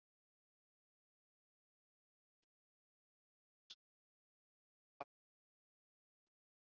Eftir að hann áttaði sig á hvers ætlast var til af honum.